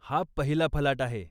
हा पहिला फलाट आहे.